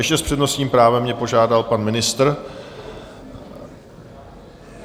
Ještě s přednostním právem mě požádal pan ministr.